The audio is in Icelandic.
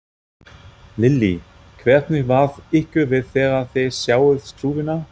Lillý: Hvernig varð ykkur við þegar þið sáuð skrúfuna?